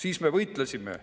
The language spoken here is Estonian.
Siis me võitlesime.